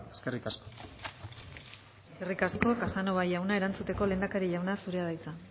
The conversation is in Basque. eskerrik asko eskerrik asko casanova jauna erantzuteko lehendakari jauna zurea da hitza